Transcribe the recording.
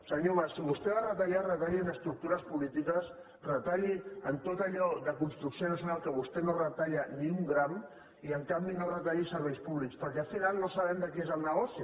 senyor mas si vostè ha de retallar retalli en estructures polítiques retalli en tot allò de construcció nacional que vostè no en retalla ni un gram i en canvi no retalli serveis públics perquè al final no sabem de qui és el negoci